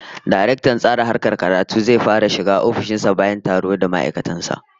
Daraktan Tsara Harkar Karatu zai yi fara shiga ofishin sa bayan taro da ma'aikatan sa